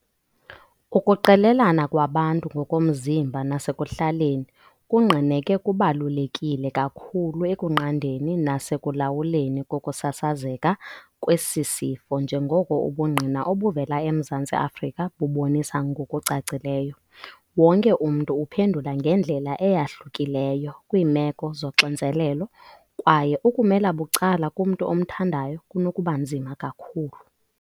Ukuqelelana kwabantu ngokomzimba nasekuhlaleni kungqineke kubalulekile kakhulu ekunqandeni nasekulawuleni kokusasazeka kwesi sifo njengoko ubungqina obuvela eMzantsi Afrika bubonisa ngokucacileyo. Wonke umntu uphendula ngendlela eyahlukileyo kwiimeko zoxinzelelo kwaye ukumela bucala kumntu omthandayo kunokubanzima kakhulu."